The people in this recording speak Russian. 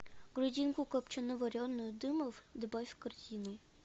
грудинку копчено вареную дымов добавь в корзину